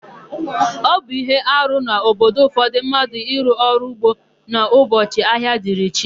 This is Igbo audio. Ọ bụ íhé arụ n'obodo ụfọdụ mmadụ ịrụ ọrụ ugbo n'ụbọchị ahịa dịrị chi.